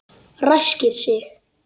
Ræskir sig.